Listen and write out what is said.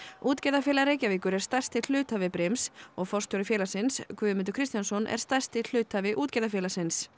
útgerðarfélag Reykjavíkur er stærsti hluthafi brims og forstjóri félagsins Guðmundur Kristjánsson er stærsti hluthafi Útgerðarfélagsins